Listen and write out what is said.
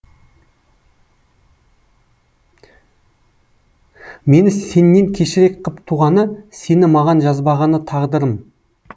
мені сеннен кешірек қып туғаны сені маған жазбағаны тағдырым